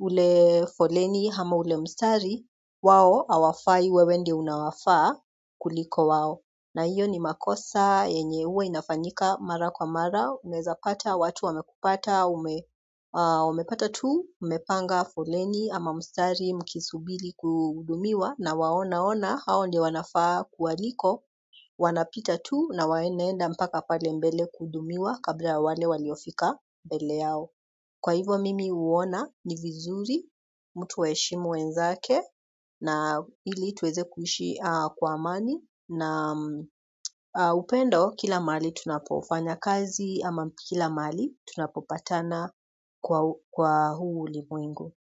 ule foleni ama ule mstari wao hawafai wewe ndio unawafaa kuliko wao na hiyo ni makosa yenye huwa inafanyika mara kwa mara unaezapata watu wamekupata umepata tu umepanga foleni ama mstari mkisubiri kuhudumiwa na waonaona hao ndio wanafaa kuwaliko wanapita tu na wanaenda mpaka pale mbele kuhudumiwa kabla ya wale waliofika mbele yao kwa hivyo mimi huona ni vizuri, mtu aheshimu wenzake na ili tuweze kuishi kwa amani na upendo kila mahali tunapofanya kazi ama kila mali tunapopatana kwa huu ulimwengu.